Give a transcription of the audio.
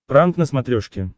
пранк на смотрешке